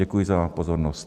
Děkuji za pozornost.